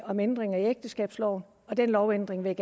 om ændringer i ægteskabsloven og den lovændring vil